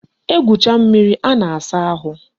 E gwucha mmiri a na-asa ahụ